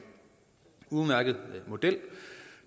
udmærket model